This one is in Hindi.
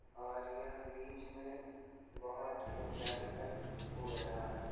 और यह बीच में बहुत ऊंचाई तक उड़ रहा है।